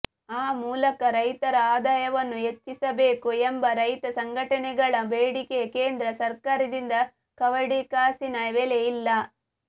ಆ ಮೂಲಕ ರೈತರ ಆದಾಯವನ್ನು ಹೆಚ್ಚಿಸಬೇಕು ಎಂಬ ರೈತ ಸಂಘಟನೆಗಳ ಬೇಡಿಕೆಗೆ ಕೇಂದ್ರ ಸರ್ಕಾರದಿಂದ ಕವಡೆಕಾಸಿನ ಬೆಲೆ ಇಲ್ಲ